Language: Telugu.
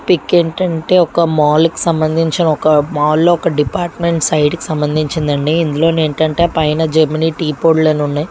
పిక్ ఏంటంటే ఒక మాల్ కు సంబంధించిన ఒక మాల్ లో ఒక డిపార్ట్మెంట్ సైడ్ కి సంబంధించిందండి ఇందులోది ఏంటంటే పైన జెమినీ టీ పొడులనన్నాయి ఉన్నాయి.